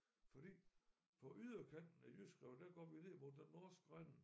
Fordi fra yderkanten af jyske rev der går vi ned mod den norske rende